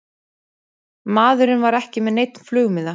Maðurinn var ekki með neinn flugmiða